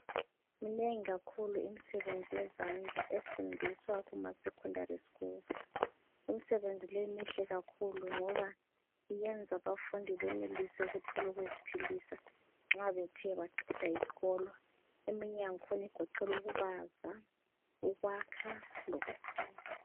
Minengi kakhulu imisebenzi yezandla efundiswa kuma secondary school. Imsebenzi le mihle kakhulu ngoba iyenza abafundi benelise ukuthol' ukuziphilisa nxa bethe baqeda iskolo. Eminye yangkhona igoqel' ukubaza, ukwakha lokuthunga.